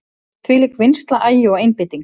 Þvílík vinnsla, agi og einbeiting.